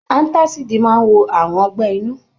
Antasidi máa n wo àrùn ọgbẹ inú.